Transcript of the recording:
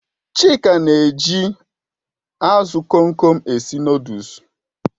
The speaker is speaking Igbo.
Chuka na-eji azụ Kom Kom esi nụdụlsu